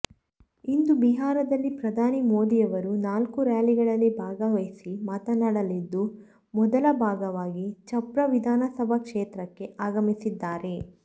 ಇಂದು ಬಿಹಾರದಲ್ಲಿ ಪ್ರಧಾನಿ ಮೋದಿಯವರು ನಾಲ್ಕು ರ್ಯಾಲಿಗಳಲ್ಲಿ ಭಾಗವಹಿಸಿ ಮಾತನಾಡಲಿದ್ದು ಮೊದಲ ಭಾಗವಾಗಿ ಛಪ್ರ ವಿಧಾನಸಭಾ ಕ್ಷೇತ್ರಕ್ಕೆ ಆಗಮಿಸಿದ್ದಾರೆ